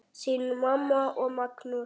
Þín mamma og Magnús.